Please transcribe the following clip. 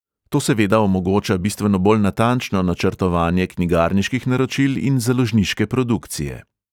To seveda omogoča bistveno bolj natančno načrtovanje knjigarniških naročil in založniške produkcije.